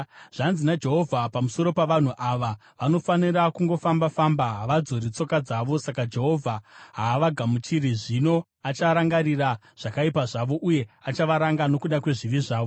Zvanzi naJehovha pamusoro pavanhu ava, “Vanofarira kungofamba-famba; havadzori tsoka dzavo. Saka Jehovha haavagamuchiri; zvino acharangarira zvakaipa zvavo uye achavaranga nokuda kwezvivi zvavo.”